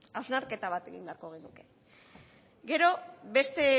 hausnarketa bat egin beharko genuke gero beste